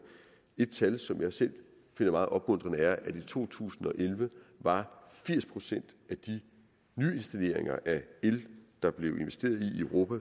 et tal som jeg selv finder meget opmuntrende er at i to tusind og elleve var firs procent af de nyinstalleringer af el der blev investeret i i europa